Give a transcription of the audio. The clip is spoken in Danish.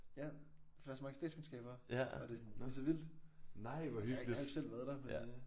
Ja for der er så mange statskundskaber og det sådan det så vildt altså jeg har ikke jeg har ikke selv været der men øh